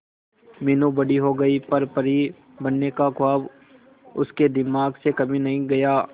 मीनू बड़ी हो गई पर परी बनने का ख्वाब उसके दिमाग से कभी नहीं गया